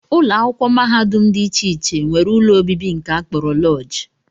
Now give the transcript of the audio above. Ụlọakwụkwọ mahadum dị iche iche nwere ụlọ obibi nke a kpọrọ lọọjị